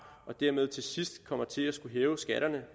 og dermed til sidst kommer til at skulle hæve skatterne